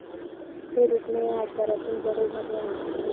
हे रुग्ण या आजारातून बरे झाले आहेत.